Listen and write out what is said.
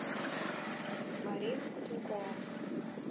марина кутенкова